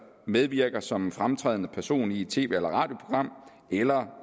medvirker som en fremtrædende person i et tv eller radioprogram eller